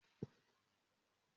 Mo lo awọn ọkọ akero fun lilọ sókè sodo.